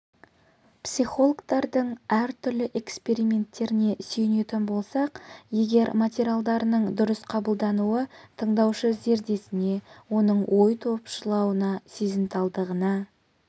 психологтардың әртүрлі эксперименттеріне сүйенетін болсақ егер материалдарының дұрыс қабылдануы тыңдаушы зердесіне оның ой топшылауына сезімталдығына